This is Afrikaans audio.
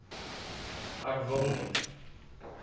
ek wil net